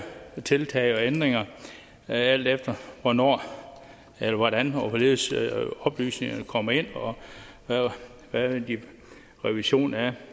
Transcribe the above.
tiltag og ændringer alt efter hvornår eller hvordan og hvorledes oplysningerne kommer ind og hvad en revision af